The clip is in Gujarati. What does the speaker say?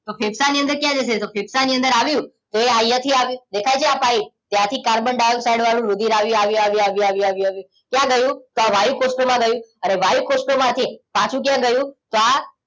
તો ફેફસા ની અંદર ક્યાં જશે ફેફસાની અંદર આવ્યું તે અહિયાં થીઆવ્યું દેખાય છે આ પાઇપ ત્યાંથી કાર્બન ડાઇઓક્સાઇડ વાળું રુધિર આવ્યું આવ્યું આવ્યું આવ્યું ક્યાં ગયું તો આ વાયુકોષ્ઠો માં ગયું વાયુ કોષ્ઠો માંથી પાછુ ક્યાં ગયું આ